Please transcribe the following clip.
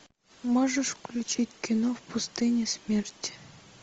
можешь включить кино в пустыне смерти